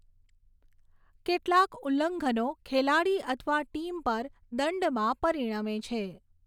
કેટલાંક ઉલ્લંઘનો ખેલાડી અથવા ટીમ પર દંડમાં પરિણમે છે.